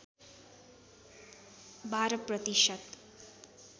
१ २ प्रतिशत